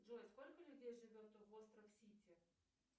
джой сколько людей живет в остров сити